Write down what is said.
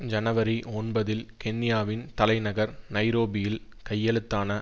ஜனவரி ஒன்பதில் கென்யாவின் தலைநகர் நைரோபியில் கையெழுத்தான